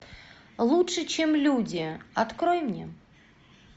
лучше чем люди открой мне